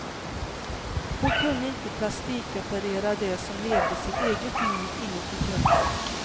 Hon kunde inte plastikoperera det som levde sitt eget liv inuti kroppen.